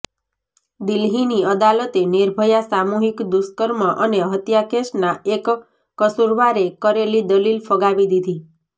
દિલ્હીની અદાલતે નિર્ભયા સામૂહિક દૂષ્કર્મ અને હત્યા કેસના એક કસુરવારે કરેલી દલીલ ફગાવી દીધી